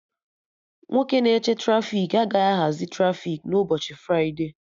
Nwoke na-eche trafiki agaghị ahazi trafiki na ụbọchị fride